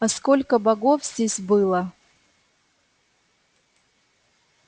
а сколько богов здесь было